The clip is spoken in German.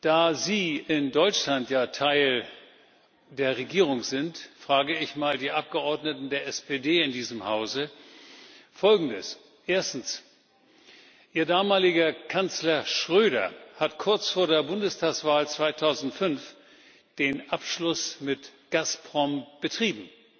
Da sie in Deutschland ja Teil der Regierung sind, frage ich die Abgeordneten der SPD in diesem Hause Folgendes. Erstens Ihr damaliger Kanzler Schröder hat kurz vor der Bundestagswahl 2005 den Abschluss mit Gazprom betrieben.